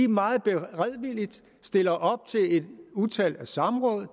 meget beredvilligt stiller op til et utal af samråd og